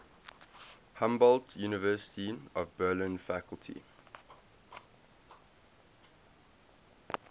humboldt university of berlin faculty